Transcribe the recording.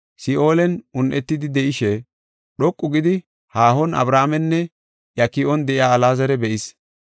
Si7oolen un7etidi de7ishe dhoqu gidi haahon Abrahaamenne iya ki7on de7iya Alaazara be7is.